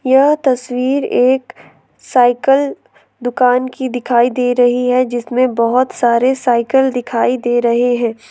यह तस्वीर एक साइकल दुकान की दिखाई दे रही हैं जिसमें बहोत सारे साइकल दिखाई दे रहे है।